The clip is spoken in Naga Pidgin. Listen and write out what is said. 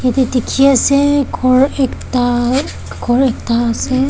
jatte dekhi ase gour ekta gour ekta ase.